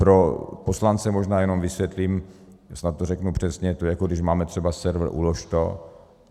Pro poslance možná jenom vysvětlím, snad to řeknu přesně, to je, jako když máme třeba server Ulož.